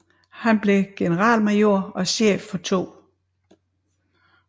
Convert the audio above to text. Han blev generalmajor og chef for 2